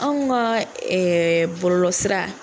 Anw ka ɛɛ bɔlɔlɔ sira